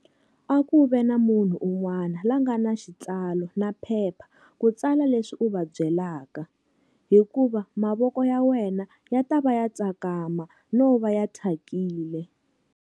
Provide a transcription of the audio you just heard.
A ku ve na munhu un'wana la nga na xitsalo na phepha ku tsala leswi u va byelaka, hikuva mavoko ya wena ya ta va ya tsakama no va ya thyakile.